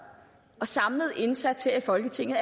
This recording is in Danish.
og samlet indsats her i folketinget